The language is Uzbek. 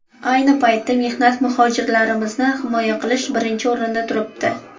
Ayni paytda mehnat muhojirlarimizni himoya qilish birinchi o‘rinda turibdi.